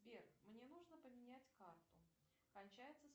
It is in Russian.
сбер мне нужно поменять карту кончается